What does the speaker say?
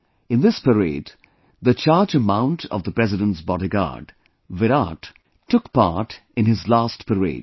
In this parade, the charger mount of the President's Bodyguard, Virat took part in his last parade